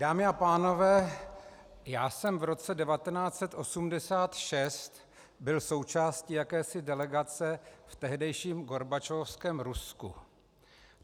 Dámy a pánové, já jsem v roce 1986 byl součástí jakési delegace v tehdejším gorbačovovském Rusku.